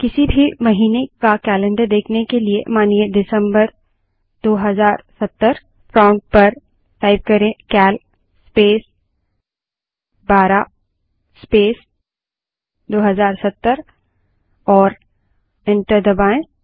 किसी भी महीने का कैलन्डर देखने के लिए मानिए दिसम्बर २०७० प्रोंप्ट पर सीएल स्पेस 12 स्पेस 2070 टाइप करें और एंटर दबायें